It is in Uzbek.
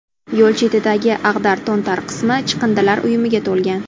Yo‘l chetidagi ag‘dar-to‘ntar qismi chiqindilar uyumiga to‘lgan.